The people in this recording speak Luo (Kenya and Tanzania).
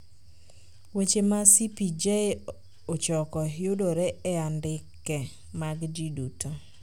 Weche ma CPJ ochoko yudore e andke mag ji duto.